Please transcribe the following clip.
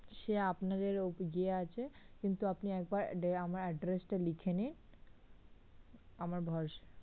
সে আপনাদের যে আছে কিন্তু আপনি একবার আমার address টা লিখে নিন আমার ভরসা